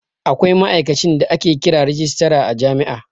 Akwai ma'aikacin da ake kira rajistara a jami'a